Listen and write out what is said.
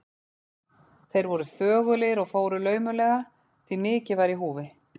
Þeir voru þögulir og fóru laumulega, því mikið var í húfi.